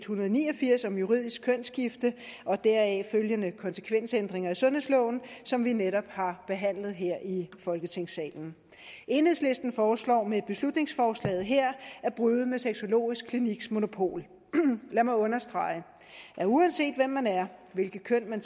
hundrede og ni og firs om juridisk kønsskifte og deraf følgende konsekvensændringer af sundhedsloven som vi netop har behandlet her i folketingssalen enhedslisten foreslår med beslutningsforslaget her at bryde med sexologisk kliniks monopol lad mig understrege at uanset hvem man er hvilket køn man